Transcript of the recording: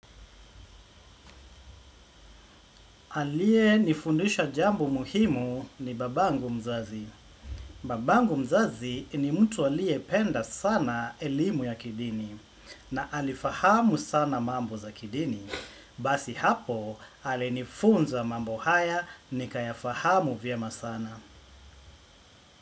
Aliyenifundisha jambo muhimu ni babangu mzazi. Babangu mzazi, ni mtu aliyependa sana elimu ya kidini na alifahamu sana mambo za kidini. Basi hapo, alinifunza mambo haya, nikayafahamu vyema sana.